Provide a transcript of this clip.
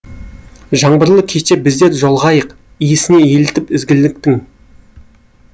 жаңбырлы кеште біздер жолығайық иісіне елітіп ізгіліктің